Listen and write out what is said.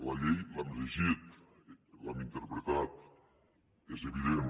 la llei l’hem llegit l’hem interpretat és evident